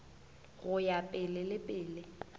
go ya pele le pele